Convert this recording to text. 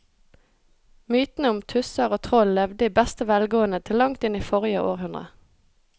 Mytene om tusser og troll levde i beste velgående til langt inn i forrige århundre.